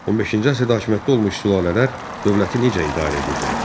15-ci əsrdə hakimiyyətdə olmuş sülalələr dövləti necə idarə edirdilər?